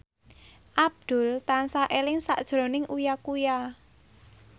Abdul tansah eling sakjroning Uya Kuya